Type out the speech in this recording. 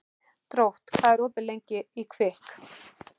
Drótt, hvað er opið lengi í Kvikk?